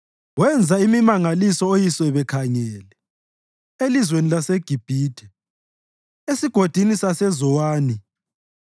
Wenza imimangaliso oyise bekhangele elizweni laseGibhithe, esigodini saseZowani.